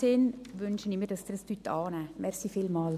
In diesem Sinne wünsche ich mir, dass Sie diesen Vorstoss annehmen.